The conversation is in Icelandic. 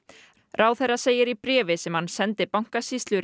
ráðherra segir í bréfi sem hann sendi bankasýslu